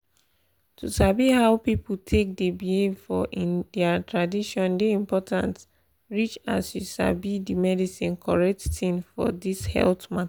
to sabi how people take dey behave for in their tradition dey important reach as you sabi the medicine correct thing for this health mata